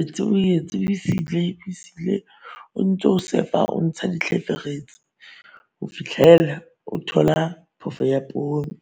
etse o etse o e sile o e sile o ntso sefa o ntsa ditlheferetsi ho fihlela o thola phofo ya poone.